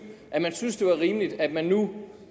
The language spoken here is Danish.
synes at det var rimeligt at man nu